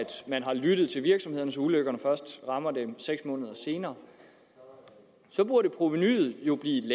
man har lyttet til virksomhederne så ulykkerne først rammer dem seks måneder senere så burde provenuet